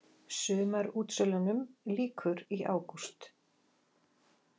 Sumarútsölunum lýkur í ágúst